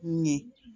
Ɲɛ